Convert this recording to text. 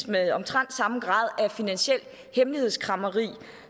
med omtrent samme grad af finansielt hemmelighedskræmmeri